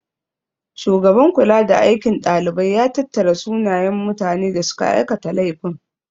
Shugaban kulada aikin dalibai ya tattara sunayen mutane da suka aikata laifin.